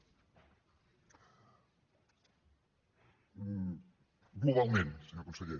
globalment senyor conseller